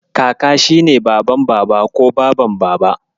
Kaka shi ne Baban Baba ko Baban Baba.